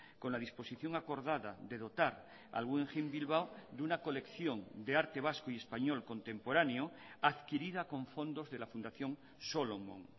con la disposición acordada de dotar al guggenheim bilbao de una colección de arte vasco y español contemporáneo adquirida con fondos de la fundación solomon